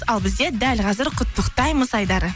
ал бізде дәл қазір құттықтаймыз айдары